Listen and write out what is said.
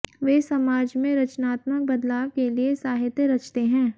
वे समाज में रचनात्मक बदलाव के लिए साहित्य रचते हैं